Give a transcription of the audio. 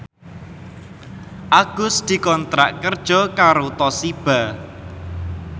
Agus dikontrak kerja karo Toshiba